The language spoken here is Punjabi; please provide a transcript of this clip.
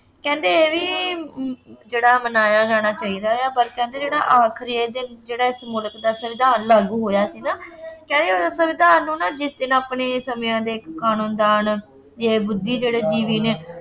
ਕਹਿੰਦੇ ਇਹ ਵੀ ਜਿਹੜਾ ਮਨਾਇਆ ਜਾਣਾ ਚਾਹੀਦਾ ਹੈ ਪਰ ਕਹਿੰਦੇ ਜਿਹੜਾ ਆਖਰੀ ਜਿਹੜਾ ਮੁਲਕ ਦਾ ਸੰਵਿਧਾਨ ਲਾਗੂ ਹੋਇਆ ਸੀ ਨਾ ਕਹਿੰਦੇ ਸੰਵਿਧਾਨ ਨੂੰ ਨਾ ਜਿਸ ਦਿਨ ਆਪਣੇ ਸਮਿਆਂ ਦੇ ਕਾਨੂੰਨਦਾਨ ਜੇ ਬੁੱਧੀ ਜਿਹੜੇ ਜੀਵੀ ਨੇ